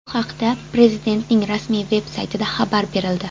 Bu haqda Prezidentning rasmiy-veb saytida xabar berildi.